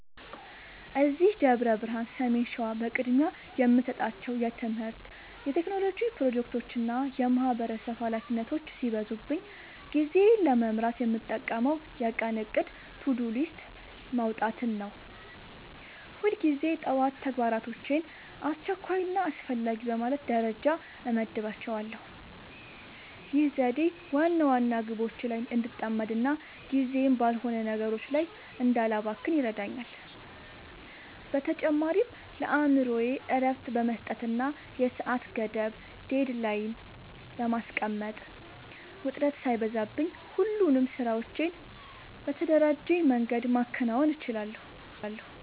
እዚህ ደብረ ብርሃን (ሰሜን ሸዋ) በቅድሚያ የምሰጣቸው የትምህርት፣ የቴክኖሎጂ ፕሮጀክቶችና የማህበረሰብ ኃላፊነቶች ሲበዙብኝ ጊዜዬን ለመምራት የምጠቀመው የቀን እቅድ (To-Do List) ማውጣትን ነው። ሁልጊዜ ጠዋት ተግባራቶቼን አስቸኳይና አስፈላጊ በማለት ደረጃ እመድባቸዋለሁ። ይህ ዘዴ ዋና ዋና ግቦቼ ላይ እንድጠመድና ጊዜዬን ባልሆኑ ነገሮች ላይ እንዳላባክን ይረዳኛል። በተጨማሪም ለአእምሮዬ እረፍት በመስጠትና የሰዓት ገደብ (Deadline) በማስቀመጥ፣ ውጥረት ሳይበዛብኝ ሁሉንም ስራዎቼን በተደራጀ መንገድ ማከናወን እችላለሁ።